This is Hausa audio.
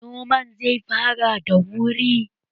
Noman zai fara da wuri